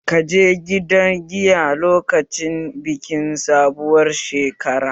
Ka je gidan giya lokacin bikin sabuwar shekara?